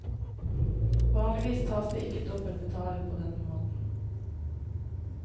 Vanligvis tas det ikke dobbelt betaling på denne måten.